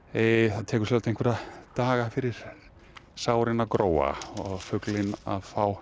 það tekur sjálfsagt einhverja daga fyrir sárin að gróa og fuglinn að fá